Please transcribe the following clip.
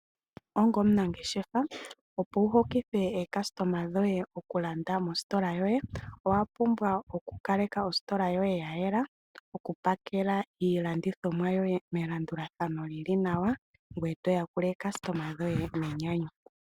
Ongo omunangeshefa opo wuhokithe ookasitoma dhoye oku landa mositola yoye owa pumbwa oku kaleka ositola yoye ya yela oku pakela iilandithomwa yoye melandulathano lili nawa ngoye toya kula eekasitoma dhoye nenyanyu.